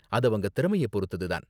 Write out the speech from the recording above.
அது அவங்க திறமைய பொறுத்தது தான்.